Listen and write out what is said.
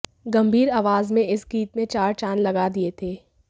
गंभीर आवाज में इस गीत में चार चांद लगा दिये थे